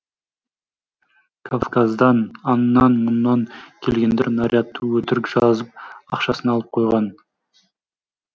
кавказдан аннан мұннан келгендер нарядты өтірік жазып ақшасын алып қойған